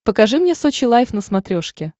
покажи мне сочи лайф на смотрешке